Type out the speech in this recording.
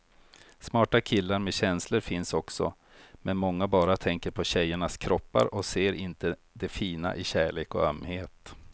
Smarta killar med känslor finns också, men många bara tänker på tjejernas kroppar och ser inte det fina i kärlek och ömhet.